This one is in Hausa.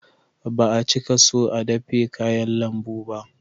Ba a cika so a dafe kayan lambu ba